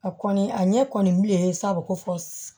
A kɔni a ɲɛ kɔni bilen sa ko fɔ